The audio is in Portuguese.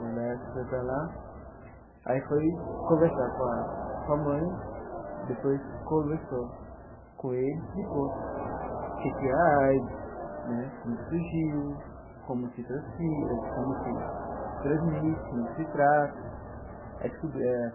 O Laércio foi para lá, aí foi conversar com a com a mãe, depois conversou com ele, explicou o que que é a AIDS né, como é que surgiu, como se transfi como se se transmite, como é que se trata aí descu eh.